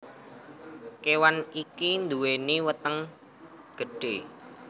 Kewan iki nduweni weteng gedhe